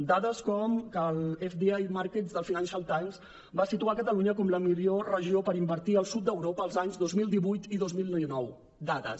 dades com que el fdi markets del financial timesva situar catalunya com la millor regió per invertir al sud d’europa els anys dos mil divuit i dos mil dinou dades